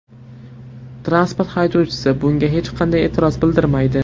Transport haydovchisi bunga hech qanday e’tiroz bildirmaydi.